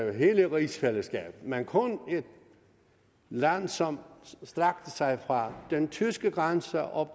af hele rigsfællesskabet men kun et land som strakte sig fra den tyske grænse og